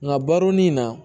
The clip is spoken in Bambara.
Nka baro ni na